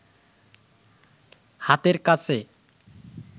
হাতের কাছে